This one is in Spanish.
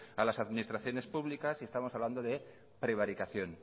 a las administraciones públicas y estamos hablando de prevaricación